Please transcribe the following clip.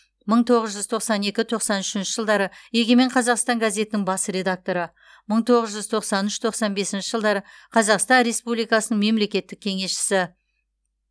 мың тоғыз жүз тоқсан екі тоқсан үшінші жылдары егемен қазақстан газетінің бас редакторы мың тоғыз жүз тоқсан үш тоқсан бесінші жылдары қазақстан республикасының мемлекеттік кеңесшісі